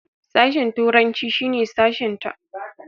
Sashen turanci shine sashenta.